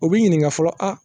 U b'i ɲininga fɔlɔ a